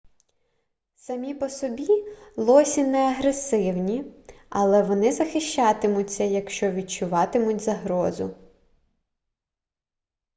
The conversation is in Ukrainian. самі по собі лосі не агресивні але вони захищатимуться якщо відчуватимуть загрозу